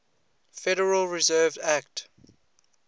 federal reserve act